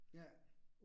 Ja